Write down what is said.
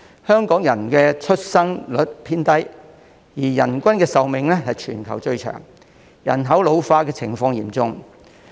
香港的生育率偏低，人均壽命卻是全球最長，令人口老化的情況日益嚴重。